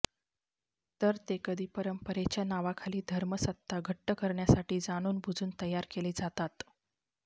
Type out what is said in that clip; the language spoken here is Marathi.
तर ते कधी परंपरेच्या नावाखाली धर्मसत्ता घट्ट करण्यासाठी जाणूनबुजून तयार केले जातात